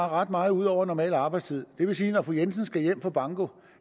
ret meget ud over normal arbejdstid det vil sige at når fru jensen skal hjem fra banko